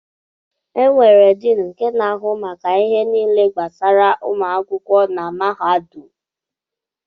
E nwèrè Diin nke n'ahụ maka ihe niile gbasara ụmụ akwụkwọ na mahadum.